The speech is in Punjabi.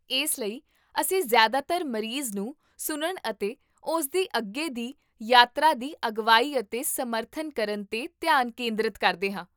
ਇਸ ਲਈ ਅਸੀਂ ਜ਼ਿਆਦਾਤਰ ਮਰੀਜ਼ ਨੂੰ ਸੁਣਨ ਅਤੇ ਉਸ ਦੀ ਅੱਗੇ ਦੀ ਯਾਤਰਾ ਦੀ ਅਗਵਾਈ ਅਤੇ ਸਮਰਥਨ ਕਰਨ 'ਤੇ ਧਿਆਨ ਕੇਂਦਰਤ ਕਰਦੇ ਹਾਂ